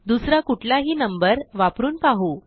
दुसरा कुठलाही नंबर वापरून पाहू